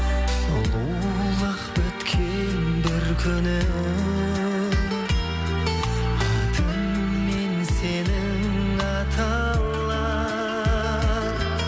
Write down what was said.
сұлулық біткен бір күні атыңмен сенің аталар